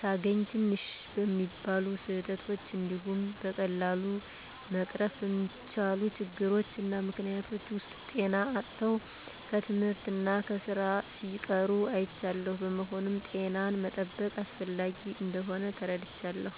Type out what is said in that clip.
ሳገኝ ትንሽ በሚባሉ ስህተቶች እንዲሁም በቀላሉ መቀረፍ በሚችሉ ችግሮች እና ምክኒያቶች ሰወች ጤና አጥተው ከትምህርት እና ከስራ ሲቀሩ አይቻለሁ። በመሆኑም ጤናን መጠበቅ አስፈላጊ እንደሆን ተረድቻለሁ።